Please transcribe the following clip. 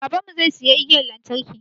Baban mu zai siya igiyan lantarki